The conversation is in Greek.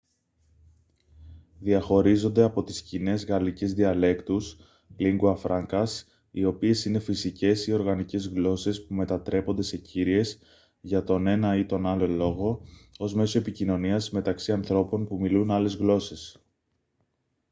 διαχωρίζονται από τις κοινές γαλλικές διαλέκτους lingua francas οι οποίες είναι φυσικές ή οργανικές γλώσσες που μετατρέπονται σε κύριες για τον ένα ή τον άλλο λόγο ως μέσο επικοινωνίας μεταξύ ανθρώπων που μιλούν άλλες γλώσσες